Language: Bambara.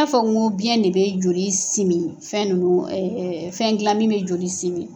N t'a fɔ ko biyɛn de bɛ joli simi fɛn ,fɛn dila min bɛ joli simi